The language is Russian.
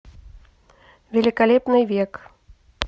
великолепный век